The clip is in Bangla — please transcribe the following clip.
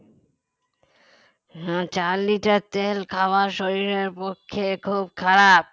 না চার liter তেল খাওয়া শরীরের পক্ষে খুব খারাপ